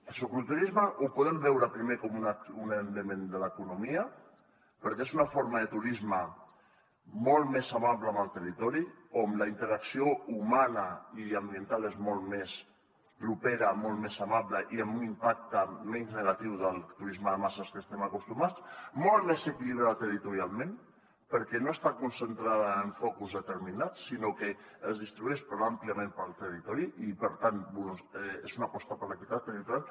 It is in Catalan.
el cicloturisme el podem veure primer com un element de l’economia perquè és una forma de turisme molt més amable amb el territori o amb la interacció humana i ambiental és molt més propera molt més amable i amb un impacte menys negatiu que el turisme de masses a què estem acostumats molt més equilibrat territorialment perquè no està concentrat en focus determinats sinó que es distribueix àmpliament pel territori i per tant és una aposta per l’equitat territorial